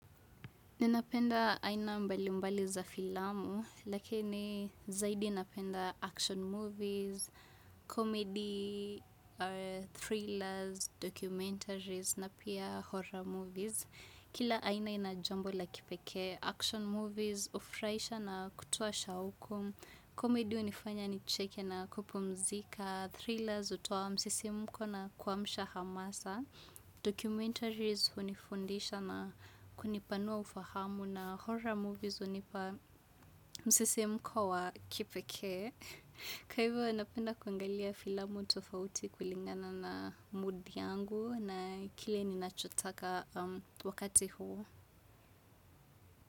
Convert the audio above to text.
Ninapenda aina mbalimbali za filamu, lakini zaidi napenda action movies, comedy, thrillers, documentaries, na pia horror movies. Kila aina ina jambo la kipekee action movies, hufuraisha na kutoa shauku, comedy hunifanya nicheke na kupumzika, thrillers hutoa msisimko na kuamsha hamasa. Documentaries hunifundisha na kunipanua ufahamu na horror movies hunipa msisimko wa kipekee. Kwa hivyo napenda kuangalia filamu tofauti kulingana na mood yangu na kile ninachotaka wakati huo.